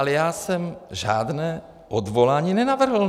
Ale já jsem žádné odvolání nenavrhl.